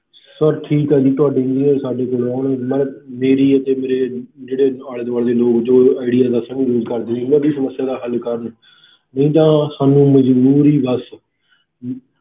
Sir ਠੀਕ ਹੈ ਜੀ ਤੁਹਾਡੇ engineer ਸਾਡੇ ਕੋਲ ਆਉਣਗੇ ਨਾਲੇ ਮੇਰੀ ਅਤੇ ਮੇਰੇ ਜਿਹੜੇ ਆਲੇ ਦੁਆਲੇ ਦੇ ਲੋਕ ਜੋ ਆਈਡੀਆ ਦਾ sim use ਕਰਦੇ ਸੀਗੇ ਉਹਨਾਂ ਦੀ ਸਮੱਸਿਆ ਦਾ ਹੱਲ ਕਰਨ ਨਹੀਂ ਤਾਂ ਸਾਨੂੰ ਮਜ਼ਬੂਰੀ ਬਸ